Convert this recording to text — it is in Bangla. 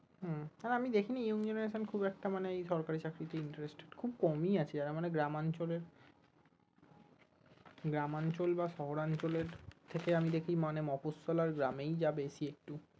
উম আর আমি দেখিনি young genaretion খুব একটা মানে ওই সরকারি চাকরিতে interested খুব কমই আছে যারা মানে গ্রাম অঞ্চলে গ্রাম অঞ্চল বা শহর অঞ্চলের থেকে আমি দেখি মানে মফস্সল আর গ্রামেই যা বেশি একটু